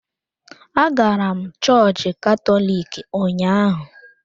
Agara m chọọchị Katọlik ụnyaahụ.